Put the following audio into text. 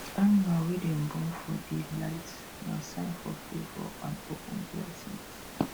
animal wey born for day light nah sign of favour and open blessings